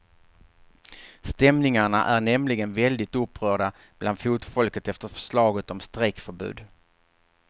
Stämningarna är nämligen väldigt upprörda bland fotfolket efter förslaget om strejkförbud.